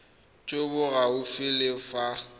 jo bo gaufi le fa